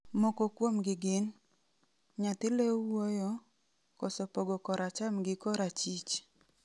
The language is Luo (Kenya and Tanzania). Moko kuomgi gin:Nyathi leo wuoyo, koso pogo kor acham gi kor achich.